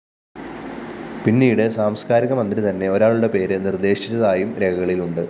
പിന്നീട് സാംസ്‌കാരിക മന്ത്രി തന്നെ ഒരാളുടെ പേര് നിര്‍ദേശിച്ചതായും രേഖകളിലുണ്ട്